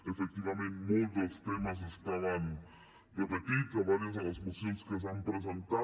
efectivament molts dels temes estaven repetits a diverses de les mocions que s’han presentat